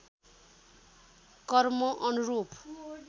कर्म अनुरूप